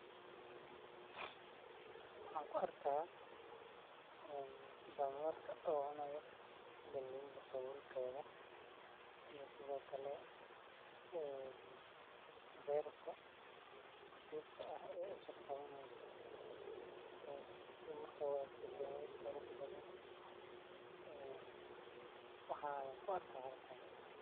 Waxan kuarkaa een danyerka oo cunayo galeyda sawuulkedha iyo sidhookale een berta dogta ah e isha qawaneyso si marka uegto dawo qurux badhan e waxa ayaan kuarka halkani.